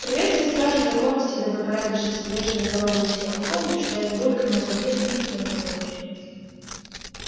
приветствую стражей законности и добропорядочности вежливо здороваюсь я вы помните что я с бабульками у подъезда никогда не ругаюсь